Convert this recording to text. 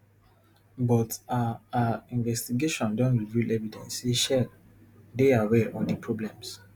but our our investigation don reveal evidence say shell dey aware of di problems